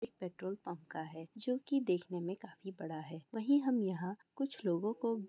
petrol pump का है जो कि देखने में काफी बड़ा है वही हम यहां कुछ लोगों को--